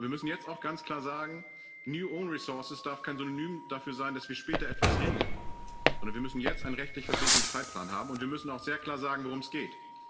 Wir müssen jetzt auch ganz klar sagen New own resources darf kein Synonym dafür sein, dass wir später etwas regeln, sondern wir müssen jetzt einen rechtlich verbindlichen Zeitplan haben und wir müssen auch sehr klar sagen, worum es geht.